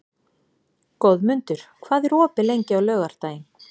Goðmundur, hvað er opið lengi á laugardaginn?